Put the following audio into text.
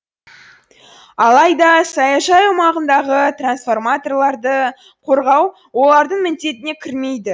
алайда саяжай аумағындағы трансформаторларды қорғау олардың міндетіне кірмейді